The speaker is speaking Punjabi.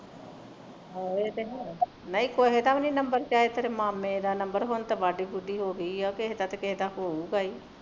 ਆਹੋ ਇਹ ਤੇ ਹੈ ਨਹੀਂ ਕਿਸੇ ਦਾ ਵੀ number ਚਾਹੇ ਤੇਰੇ ਮਾਮੇ ਦਾ number ਹੁਣ ਤੇ ਵਢੀ ਵੂਢੀ ਹੋ ਗਈ ਉਹ ਕਿਸੇ ਨਾ ਕਿਸੇ ਦਾ ਤੇ ਉਦਾ ਗਾ ਹੀ